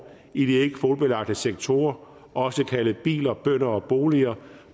i de ikkekvotebelagte sektorer også kaldet biler bønder og boliger